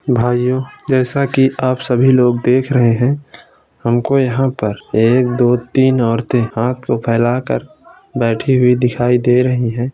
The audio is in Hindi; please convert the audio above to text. भाइयों जैसा कि आप सभी लोग देख रहे हैं। हमको यहाँ पर एक दो तीन औरतें हाथ को फेलाकर बैठी हुई दिखायी दे रही हैं।